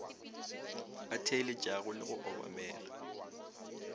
a theeletšago le go obamela